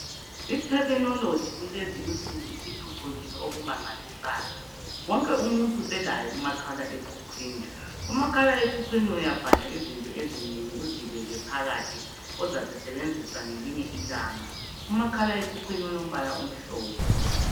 Ithekhinoloji kulezi insuku isiphucukule okumangalisayo wonke umuntu uselaye umakhala ekhukhwini .umakhala ekhukhwini uyabhala izinto ezinengi uzibeke phakathi ozazisebenzisa ngelinye ilanga umakhala ekhukhwini omhlophe